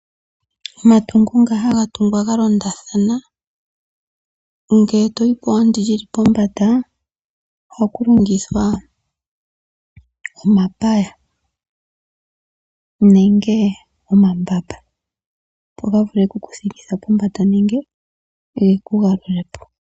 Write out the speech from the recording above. Omatungo nga haga tungwa ga londathana ngele to yi pwa ndi li li pombanda ohaku longithwa omapaya nenge omambamba, opo ga vule oku ku thikitha pombanda nenge ge ku galule po.